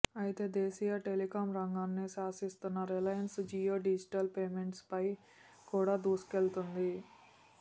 అయితే దేశీయ టెలికం రంగాన్ని శాసిస్తున్న రిలయన్స్ జియో డిజిటల్ పేమెంట్స్ పై కూడా దూసుకెళ్తోంది